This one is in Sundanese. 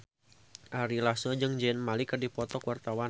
Ari Lasso jeung Zayn Malik keur dipoto ku wartawan